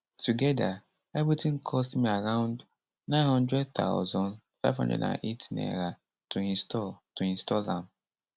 togeda evrtin cost me around 900000 508 naira to install to install am